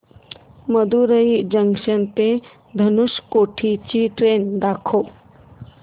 Madurai junction ते धनुषकोडी ची train दाखव